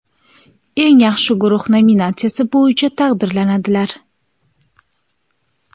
eng yaxshi guruh nominatsiyasi bo‘yicha taqdirlandilar.